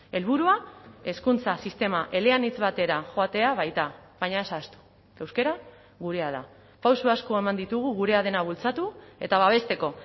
helburua hezkuntza sistema eleanitz batera joatea baita baina ez ahaztu euskara gurea da pauso asko eman ditugu gurea dena bultzatu eta babesteko